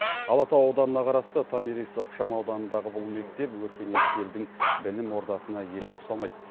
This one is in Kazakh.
алатау ауданына қарасты томирис ықшам ауданындағы бұл мектеп өркениетті елдің білім ордасына еш ұқсамайды